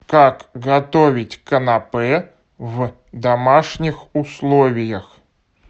как готовить канапе в домашних условиях